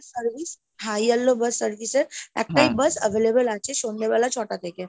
service, high yellow bus service এর, একটাই bus available আছে সন্ধ্যেবেলা ছটা থেকে।